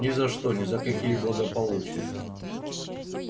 ни за что ни за какие благополучия